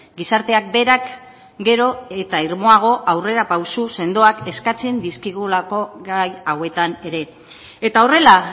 gizarteak berak gero eta irmoago aurrera pauso sendoak eskatzen dizkigulako gai hauetan ere eta horrela